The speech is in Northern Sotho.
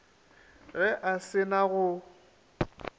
ge a se na go